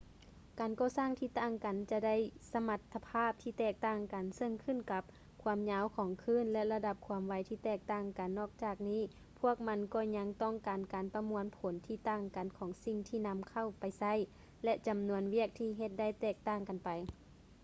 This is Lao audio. ການກໍ່ສ້າງທີ່ຕ່າງກັນຈະໄດ້ສະມັດຖະພາບທີ່ແຕກຕ່າງກັນ ເຊິ່ງຂຶ້ນກັບຄວາມຍາວຂອງຄື້ນ ແລະ ລະດັບຄວາມໄວທີ່ແຕກຕ່າງກັນ ນອກຈາກນີ້ພວກມັນກໍຍັງຕ້ອງການການປະມວນຜົນທີ່ຕ່າງກັນຂອງສິ່ງທີ່ນຳເຂົ້າໄປໃຊ້ ແລະ ຈຳນວນວຽກທີ່ເຮັດໄດ້ແຕກຕ່າງກັນໄປ